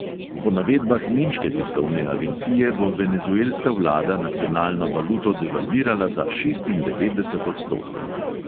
Po navedbah nemške tiskovne agencije bo venezuelska vlada nacionalno valuto devalvirala za šestindevetdeset odstotkov.